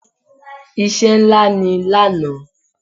Iṣẹ́ ńlá ni lánàá.